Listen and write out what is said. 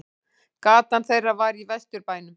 Gatan þeirra var í Vesturbænum.